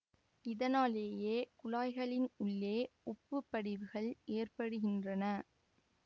இதனாலேயே குழாய்களின் உள்ளே உப்புப் படிவுகள் ஏற்படுகின்றன